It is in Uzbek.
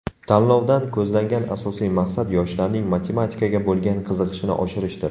Tanlovdan ko‘zlangan asosiy maqsad yoshlarning matematikaga bo‘lgan qiziqishini oshirishdir.